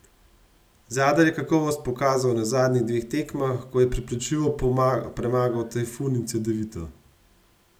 Zadar je kakovost pokazal na zadnjih dveh tekmah, ko je prepričljivo premagal Tajfun in Cedevito.